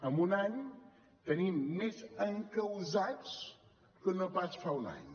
amb un any tenim més encausats que no pas fa un any